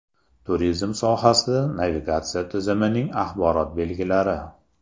Turizm sohasida navigatsiya tizimining axborot belgilari.